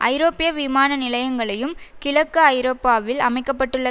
ஐரோப்பிய விமான நிலையங்களையும் கிழக்கு ஐரோப்பாவில் அமைக்க பட்டுள்ள